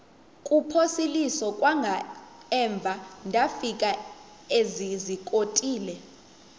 kuphosiliso kwangaemva ndafikezizikotile